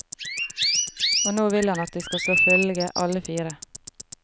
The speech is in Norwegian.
Og nå vil han at de skal slå følge alle fire.